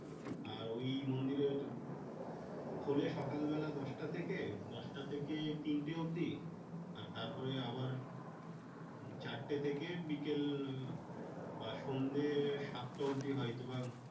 আর ওই মন্দিরের খোলে সকালবেলা দশটা থেকে। দশটা থেকে তিনটে অব্দি। আর তারপরে আবার চারটে থেকে বিকেল বা সন্ধে সাতটা অব্দি হয়তো বা